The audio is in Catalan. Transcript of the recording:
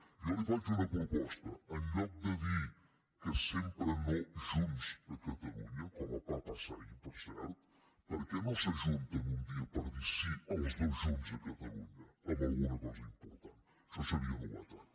jo li faig una proposta en lloc de dir sempre que no junts a catalunya com va passar ahir per cert per què no s’ajunten un dia per dir sí els dos junts a catalunya en alguna cosa important això seria novetat